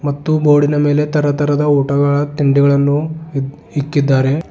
ಮತ್ತು ಬೋರ್ಡಿನ ಮೇಲೆ ತರತರದ ಊಟಗಳ ತಿಂಡಿಗಳನ್ನು ಇಕ್ಕಿದ್ದಾರೆ.